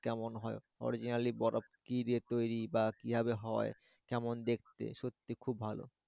কেমন হয় originally বরফ কি দিয়ে তৈরি বা কিভাবে হয় কেমন দেখতে সত্যি খুব ভালো।